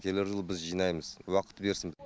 келер жылы біз жинаймыз уақыт берсін